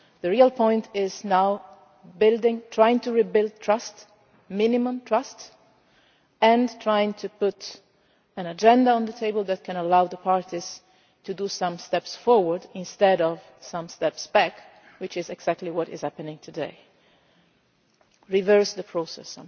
The real point is now trying to rebuild a modicum of trust and trying to put an agenda on the table that can allow the parties to take some steps forward instead of some steps back, which is exactly what is happening today reverse the process.